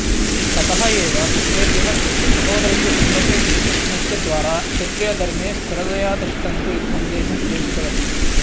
ततः एव पुत्रेभ्यः स्वस्य सहोदरस्य पुत्रस्य श्रीकृष्णस्य द्वारा क्षत्रियधर्मे स्थिरतया तिष्ठन्तु इति सन्देशं प्रेषितवती